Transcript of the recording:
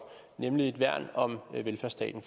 nemlig et værn om velfærdsstaten